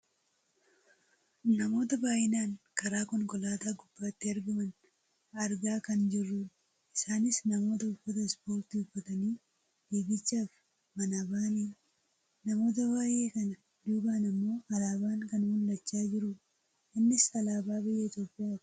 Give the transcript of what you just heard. Namoota baayyinaan karaa konkolaataa gubbaatti argaman argaa kan jirrudha. Isaanis namoota uffata ispoortii uffatanii fiigichaaf manaa bahanidha. Namoota baayyee kana duubaan ammoo alaabaan kan mul'achaa jirudha. Innis alaabaa biyya Itoophiyaati.